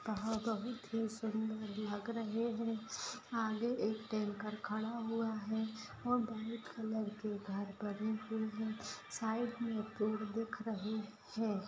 कहां कभी थी सुंदर लग रहे है आगे एक टैंकर खड़ा हुआ है और व्हाइट कलर के घर पड़े बने हुए है साइड में पेड़ दिख रहे है।